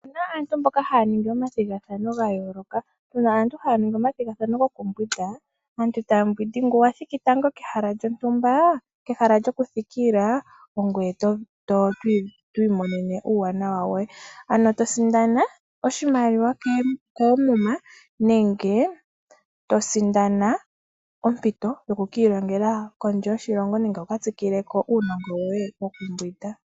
Opu na aantu mboka haya ningi omathigathano ga yooloka. Tu na aantu haya ningi omathigathano gokumbwinda. Aantu taya mbwindi ngoka wa thiki tango kehala lyontumba, kehala lyokuthikila ongoye to imonene uuwanawa woye, to sindana oshimaliwa koomuma nenge to sindana ompito yoku ka ilongela kondje yoshilongo nenge wu ka tsikile ko uunongo woye wokumbwinda.